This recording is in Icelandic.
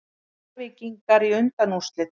Njarðvíkingar í undanúrslit